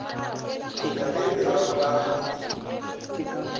ke na le lerapo la